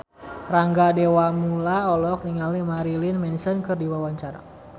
Rangga Dewamoela olohok ningali Marilyn Manson keur diwawancara